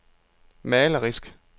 malerisk